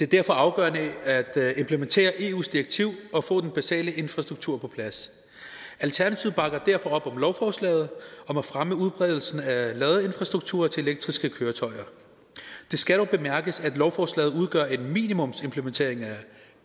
derfor afgørende at implementere eus direktiv og få den basale infrastruktur på plads alternativet bakker derfor op om lovforslaget om at fremme udbredelsen af ladeinfrastrukturer til elektriske køretøjer det skal dog bemærkes at lovforslaget udgør en minimumsimplementering af